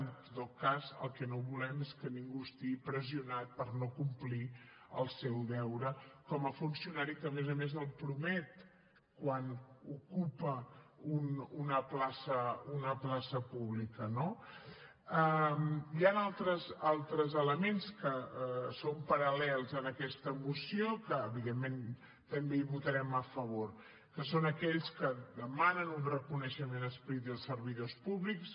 en tot cas el que no volem és que ningú estigui pressionat per no complir el seu deure com a funcionari que a més a més el promet quan ocupa una plaça pública no hi han altres elements que són paral·lels a aquesta moció que evidentment també hi votarem a favor que són aquells que demanen un reconeixement explícit dels servidors públics